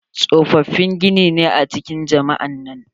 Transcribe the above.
tsofofin gini ne a cikin jami'a nan.